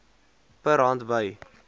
per hand by